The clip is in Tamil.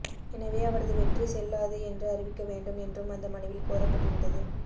எனவே அவரது வெற்றி செல்லாது என்று அறிவிக்க வேண்டும் என்றும் அந்த மனுவில் கோரப்பட்டிருந்தது